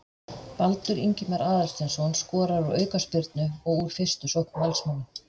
Baldur Ingimar Aðalsteinsson skorar úr aukaspyrnu og úr fyrstu sókn Valsmanna.